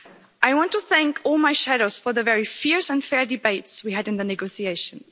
I want to thank all my shadows for the very fierce and fair debates we had in the negotiations.